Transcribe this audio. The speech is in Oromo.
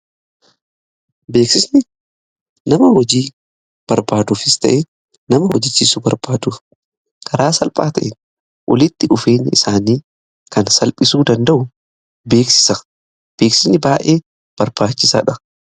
Beeksisni nama hojii barbaaduufis ta'ee nama hojjachiisu barbaaduuf karaa salphaa ta'een walitti dhufeenya isaanii kan salphisuu danda'u beeksisadha. Beeksisni baay'ee barbaachisaadha.